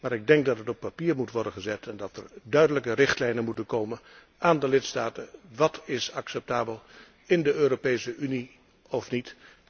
Maar ik denk dat het op papier moet worden gezet en dat er duidelijke richtlijnen moeten komen aan de lidstaten wat acceptabel is in de Europese Unie en wat niet.